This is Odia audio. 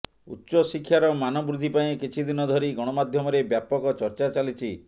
ଉଚ୍ଚଶିକ୍ଷାର ମାନବୃଦ୍ଧି ପାଇଁ କିଛିଦିନ ଧରି ଗଣମାଧ୍ୟମରେ ବ୍ୟାପକ ଚର୍ଚ୍ଚା ଚାଲିଛି